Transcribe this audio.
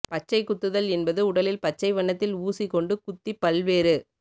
பச்சைக் குத்துதல் என்பது உடலில் பச்சை வண்ணத்தில் ஊசி கொண்டு குத்திப் பல்வேறு